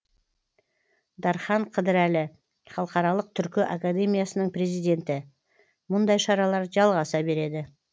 дархан қыдырәлі халықаралық түркі академиясының президенті мұндай шаралар жалғаса береді